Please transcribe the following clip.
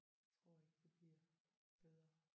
Jeg tror ikke det bliver bedre